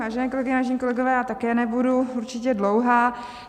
Vážené kolegyně, vážení kolegové, já také nebudu určitě dlouhá.